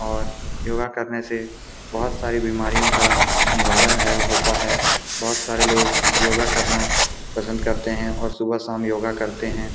और योगा करने से बहोत सारी बीमारियों का निवारण है होता है बहोत सारे लोग योगा करना पसंद करते है और सुबह-शाम योगा करते हैं ।